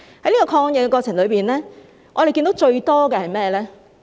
在抗疫過程中，我們看到最多的是甚麼？